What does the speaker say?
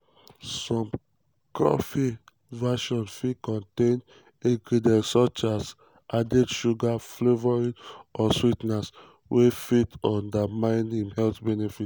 some cafe versions fit contain ingredients such as added sugars flavourings or swee ten ers wey fit undermine im health benefits.